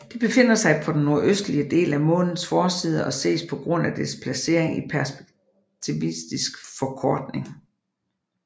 Det befinder sig på den nordøstlige del af Månens forside og ses på grund af dets placering i perspektivisk forkortning